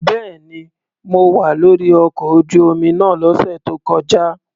Bẹ́ẹ̀ni, mo wà lórí ọkọ̀ ojú omi náà lọ́sẹ̀ tó kọjá.